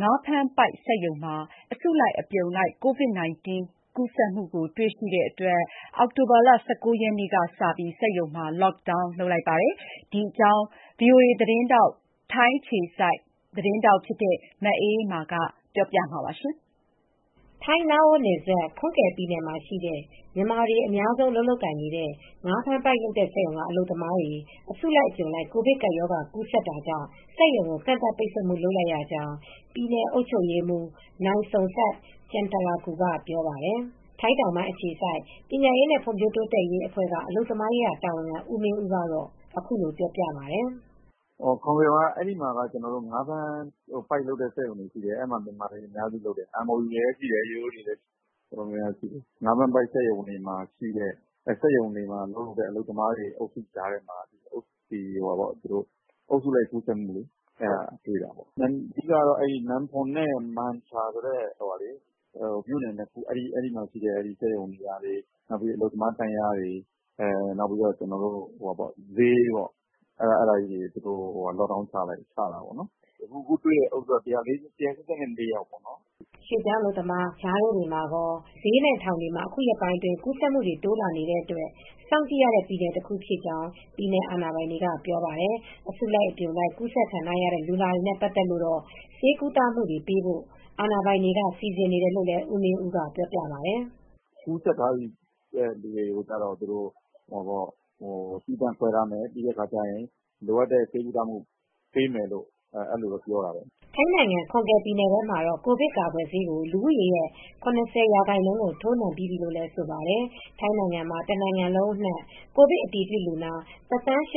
ငါးဖမ်းပိုက်စက်ရုံမှာ အလုပ်သမားတွေ အစုလိုက်အပြုံလိုက် ရောဂါကူးစက်နေတာ တွေ့ခဲ့ရတာကြောင့် အင်္ဂါနေ့မှာပဲ ကန့်သတ်မိန့် ထုတ်ပြန်လိုက်တာယပါ။ အပြည့်အစုံကိုတော့ ဗွီအိုအေ မြန်မာပိုင်း ထိုင်းအခြေစိုက် သတင်းထောက် မအေးအေးမာ ကပြောပြပေးမှာပါ။ ထိုင်း - လာအို နယ်စပ် Khon Kaen ပြည်နယ်မှာရှိတဲ့ မြန်မာတွေ အများဆုံး အလုပ်လုပ်ကိုင်နေတဲ့ ငါးဖမ်းပိုက်လုပ်တဲ့ စက်ရုံက အလုပ်သမားတွေ အစုလိုက် အပြုံလိုက် ကိုဗစ်ကပ်ရောဂါ ကူးစက်တာကြောင့် စက်ရုံကို ကန့်သတ်ပိတ်ဆို့မှု လုပ်လိုက်ရကြောင်း ပြည်နယ်အုပ်ချုပ်ရေးမှူး Somsak Jangtrakul ကပြောပါတယ်။ ထိုင်းတောင်ပိုင်း အခြေစိုက် ပညာရေးနဲ့ ဖွံ့ ဖြိုးတိုးတက်ရေးအဖွဲ့က အလုပ်သမားရေးရာ တာဝန်ခံ ဦးမင်းဦးကအခုလိုပြောပြပါတယ်။ " Khon Kaen ပြည်နယ်မှာ ငါးဖမ်းပိုက်လုပ်တဲ့ စက်ရုံတွေရှိတယ်။ အဲဒီမှာမြန်မာတွေ အများစုရှိတယ်။ အဲဒီမှာ MOU (နှစ်နိုင်ငံသဘောတူစာချုပ်)နဲ့လာတဲ့သူတွေလည်းရှိတယ်။ ရိုးရိုးအလုပ်သမားတွေလည်းရှိတယ်။ ငါးဖမ်းပိုက်လုပ်တဲ့ စက်ရုံတွေမှာ အလုပ်သမားအုပ်စုတွေကြားမှ ာအုပ်စုလိုက် ကူးစက်မှုတွေ့တာ။ အဓိက ကတော့ Nam Phong and နဲ့ Mancha Khiri ဆိုတဲ့မြို့နယ် ၂ခုမှာရှိတဲ့ စက်ရုံတွေ အလုပ်သမားတန်းလျားတွေ ဈေးတွေကို Lockdown ချလိုက်တာပေါ့နော်။ အခု တွေ့တဲ့အုပ်စုက ၁၈၄ယောက်ရှိတယ်။ " ရွှေ့ပြောင်းအလုပ်သမားတွေ ကြားထဲမှာကော ဈေးနဲ့ ထောင်တွေမှာလည်းအခုရက်ပိုင်းအတွင်း ကူးစက်မှုတွေတိုးလာနေလို့ စောင့်ကြည့်ရတဲ့ ပြည်နယ်တခုဖြစ်ကြောင်း ပြည်နယ်အာဏာပိုင်တွေက ပြောပါတယ်။ အစုလိုက် အပြုံလိုက် ကူးစက်ခံထားရတဲ့ လူနာတွေနဲ့ ပတ်သက်လို့တော့ ဆေးကုသမူတွေပေးဖို့ အာဏာပိုင်တွေက စီစဉ်နေတယ်လို့ လည်း ဦးမင်းဦးပြောပါတယ်။ " ကူးစက်ထားတဲ့သူတွေကိုတော့ သီးသန့်ခွဲထားမယ်၊ လိုအပ်တဲ့ဆေးကုသမှု ပေးမယ်လို့တော့ပြောတယ်။ " ထိုင်းနိုင်ငံ၊ Khon Kaen ပြည်နယ်ထဲမှာတော့ ကိုဗစ်ကာကွယ်ဆေး ကို လူဦးရေရဲ့၇၀ ရာခိုင်နှုန်း ထိုးနှံပြီးပြီးလို့ဆိုပါတယ် ။ ထိုင်းနိုင်ငံမှာ တနိုင်ငံလုံး အနှံ့ ကိုဗစ်အတည်ပြုလူနာ ၁၈၀,၀၀၀ ကျော်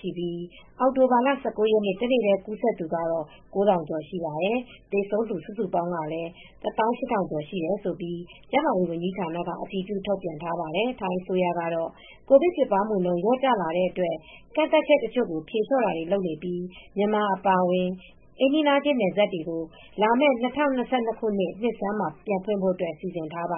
ရှိပြီး အောက်တိုဘာလ ၁၉ ရက်နေ့ တနေ့တည် းကူးစက်သူက ၉၀၀၀ ကျော်ရှိနေပါတယ်။ သေဆုံးသူစုစုပေါင်းကလည်း ၁၈၀၀၀ ကျော်ရှိတယ်လို့ ကျန်းမာရေးဝန်ကြီးဌာနက အတည်ပြု ထုတ်ပြန်ထားပါတယ် ။ ထိုင်းအစိုးရကတော့ ကိုဗစ်ဖြစ်ပွားမှုနှုန်း လျော့ကျလာတဲ့ အတွက် ကန့်သတ်ချက်တချို့ကို ဖြေလျှော့တာတွေ လုပ်နေပြီး မြန်မာအပါအဝင် အိမ်နီးနားချင်း နယ်စပ်တွေကို လာမဲ့ ၂၀၂၂ ခုနှစ် နှစ်ဆန်းမှာပြန်ဖွင့်ဖို့စီစဉ်ထားပါ